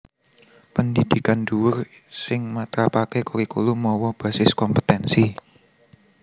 Pendhidhikan dhuwur sing matrapaké kurikulum mawa basis kompetènsi